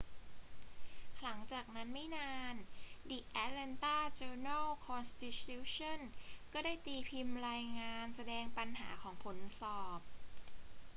หลังจากนั้นไม่นาน the atlanta journal-constitution ก็ได้ตีพิมพ์รายงานแสดงปัญหาของผลสอบ